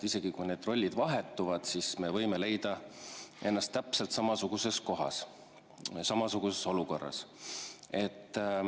Isegi kui need rollid vahetuvad, me võime leida ennast täpselt samasuguses kohas, samasuguses olukorras.